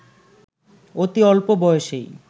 অতি অল্পবয়সেই